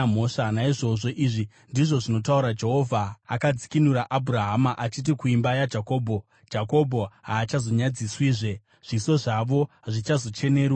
Naizvozvo izvi ndizvo zvinotaura Jehovha, akadzikinura Abhurahama, achiti kuimba yaJakobho: “Jakobho haachazonyadziswizve; zviso zvavo hazvichazocheneruki.